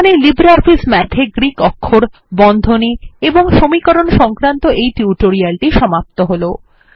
এখানেই LibreOffice Math এ Greek অক্ষর বন্ধনী এবং সমীকরণ সংক্রান্ত এই টিউটোরিয়ালটি সমাপ্ত হল